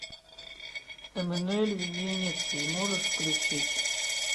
эммануэль в венеции можешь включить